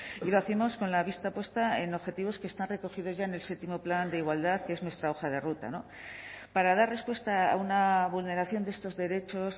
y lo hacemos con la vista puesta en objetivos que están recogidos ya en el séptimo plan de igualdad que es nuestra hoja de ruta para dar respuesta a una vulneración de estos derechos